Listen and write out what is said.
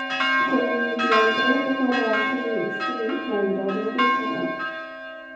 Kũmenyithia andũ ũhoro wa KEC na wĩra ũrĩa ĩrutaga